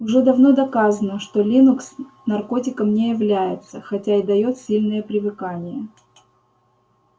уже давно доказано что линукс наркотиком не является хотя и даёт сильное привыкание